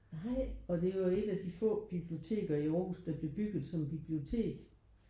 Og det er jo et af de få biblioteker i Aarhus der blev bygget som bibliotek